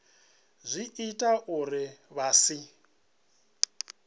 zwi ita uri vha si